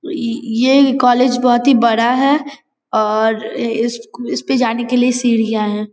इइ ये भी कॉलेज बहुत ही बड़ा है और इ इ इसपे जाने के लिए सीढ़ियां हैं।